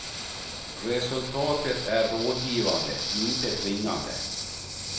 Resultatet är rådgivande, inte tvingande.